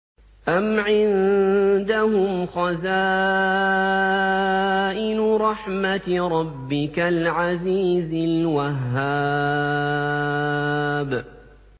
أَمْ عِندَهُمْ خَزَائِنُ رَحْمَةِ رَبِّكَ الْعَزِيزِ الْوَهَّابِ